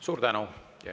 Suur tänu!